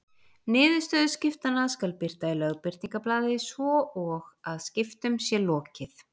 Niðurstöður skiptanna skal birta í Lögbirtingablaði svo og að skiptum sé lokið.